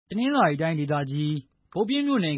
တနင်္သာရီတိုင်း ဘုတ်ပြင်းမြို့နယ်